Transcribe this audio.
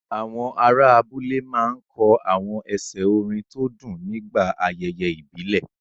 Àwọn ará abúlé máa ń kọ àwọn ẹsẹ̀ orin tó dùn nígbà ayẹyẹ ìbílẹ̀.